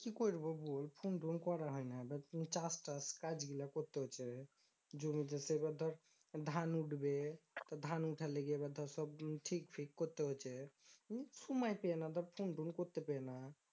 কি করব বল ফোন টোন করা হয় না এবার তুই চাষ টাস কাজগুলো করতে হয়েছে। জমি সে এবার ধর ধান উঠবে ধান উঠার লেগে এবার ধর ঠিক ঠিক করতে হচ্ছে সময় পেয়ে ফোনটোন করতে পেয়ে না।